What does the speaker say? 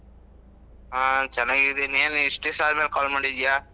ಹಾ ಚೆನ್ನಾಗಿದ್ದೀನಿ. ಏನು ಇಷ್ಟು ದಿವ್ಸ ಅದ್ಮೇಲೆ call ಮಾಡಿದ್ದೀಯಾ?